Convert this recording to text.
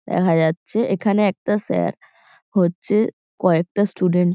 দেখা যাচ্ছে। এখানে একটা স্যার হচ্ছে কয়েকটা স্টুডেন্ট --